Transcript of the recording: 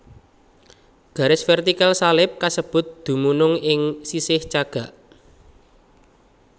Garis vertikal salib kasebut dumunung ing sisih cagak